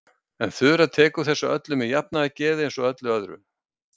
En Þura tekur þessu öllu með jafnaðargeði eins og öllu öðru.